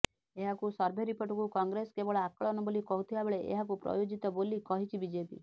ଏଭଳି ସର୍ଭେ ରିପୋର୍ଟକୁ କଂଗ୍ରେସ କେବଳ ଆକଳନ ବୋଲି କହୁଥିବା ବେଳେ ଏହାକୁ ପ୍ରାୟୋଜିତ ବୋଲି କହିଛି ବିଜେପି